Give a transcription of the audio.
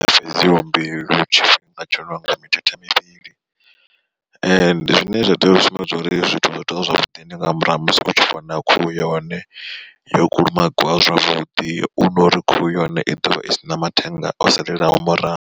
Fhedziha mbilu tshifhinga tsho no nga mithethe mivhili zwine zwa tea u sumbedza uri zwithu zwo tea zwavhuḓi. Ndi nga murahu ha musi u tshi vhona khuhu yone yo kulumagiwa zwavhuḓi hu nori khuhu yone i ḓovha i sina mathenga o salelaho murahu.